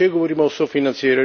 naše skupnosti.